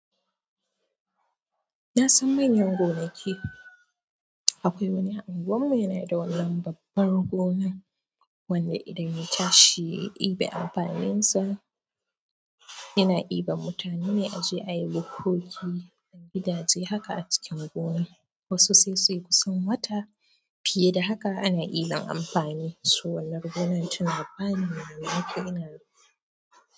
Na san manyan gonaki. Akwai wani a unguwar mu yana da wannan babbar gona, wanda idan ya tashi ya ɗibi amfaninsa, yana iban mutane a je ayi bukkoki, gidaje haka a cikin gona. Wasu sai suyi kusan wata fiye da haka ana yi ma amfani. So wannan gonan tana bani mamaki. Ina.